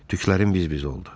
Tüklərim biz-biz oldu.